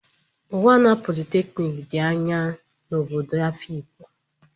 Unwana polytechnic dị anya na obodo Afikpo.